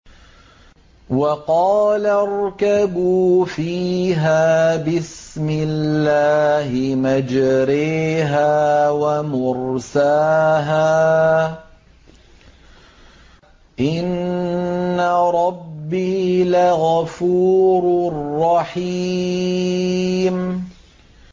۞ وَقَالَ ارْكَبُوا فِيهَا بِسْمِ اللَّهِ مَجْرَاهَا وَمُرْسَاهَا ۚ إِنَّ رَبِّي لَغَفُورٌ رَّحِيمٌ